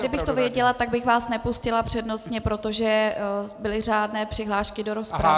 Kdybych to věděla, tak bych vás nepustila přednostně, protože byly řádné přihlášky do rozpravy.